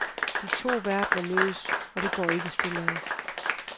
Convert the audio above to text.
De to verdener mødes, og det går ikke stille af.